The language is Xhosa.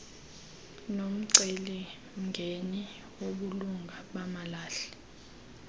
nomcelimngeni wobulunga bamalahle